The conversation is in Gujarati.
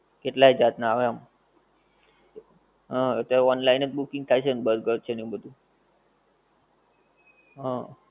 કેટલાય જાત નાં આવે આમ. હા એટલે online જ booking થાય છે ને બર્ગર છે ને બધુ હં.